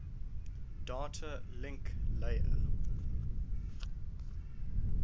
data link layer